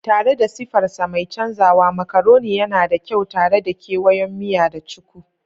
Tare da sifarsa mai canzawa, macaroni yana da kyau tare da kewayon miya da cuku.